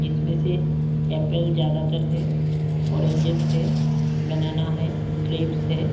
जिसमें से एप्पल ज्यादातर है ऑरेंजेस है बनाना है ग्रेप्स है।